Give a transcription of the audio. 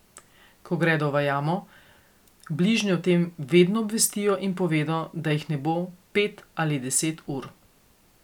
Ko gredo v jamo, bližnje o tem vedno obvestijo in povedo, da jih ne bo pet ali deset ur.